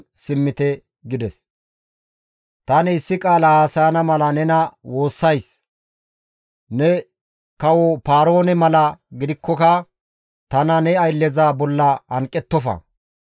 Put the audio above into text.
Histtiin Yuhuday izakko shiiqidi iza, «Ta godoo! Tani issi qaala haasayana mala nena woossays; ne kawo Paaroone mala gidikkoka tana ne aylleza bolla hanqettofa.